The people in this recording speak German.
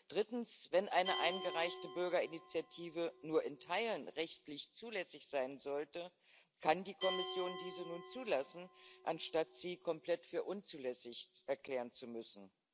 Drittens Wenn eine eingereichte Bürgerinitiative nur in Teilen rechtlich zulässig sein sollte, kann die Kommission diese nun zulassen, anstatt sie komplett für unzulässig erklären zu müssen.